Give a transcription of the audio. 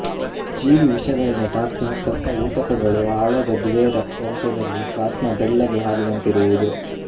ಜೀವಿವಿಷಗಳಿಂದ toxins ಸತ್ತ ಊತಕಗಳು ಹಾಳಾದ ಬಿಳಿಯ ರಕ್ತರಸದಲ್ಲಿ ಪ್ಲಾಸ್ಮ ಬೆಳ್ಳಗೆ ಹಾಲಿನಂತಿರುವುದು